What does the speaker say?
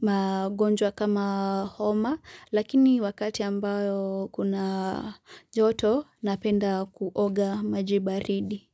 magonjwa kama homa lakini wakati ambayo kuna joto napenda kuoga maji baridi.